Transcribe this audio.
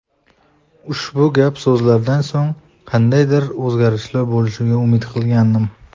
Ushbu gap-so‘zlardan so‘ng qandaydir o‘zgarishlar bo‘lishiga umid qilgandim.